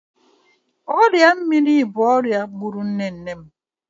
Ọrịa mamịrị bụ ọria gbụrụ nne nne m.